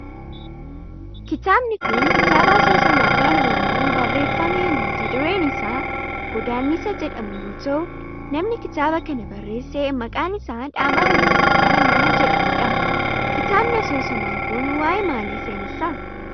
kitaabni kun kitaaba asoosamaa afaan oromoon barreeffame mata dureen isaa Goddaannisa jedhamu yoo ta'u namni kitaaba kana barreesse maqaan isaa Dhaabaa Wayyeessaa nama jedhamu dha. kitaabni asoosamaa kun waayee maalii seenessa?